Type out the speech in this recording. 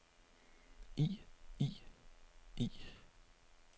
i i i